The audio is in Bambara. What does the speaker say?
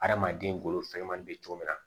Adamaden golo fɛnɲɛnama be cogo min na